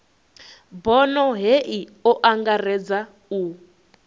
bono hei o angaredza u